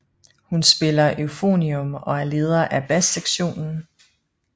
Hun spiller euphonium og er leder af bassektionen